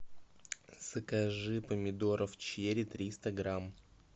закажи помидоров черри триста грамм